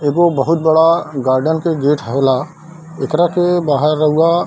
एगो बहुत बड़ा गार्डन के गेट हौला एकरा के बाहर रउआ --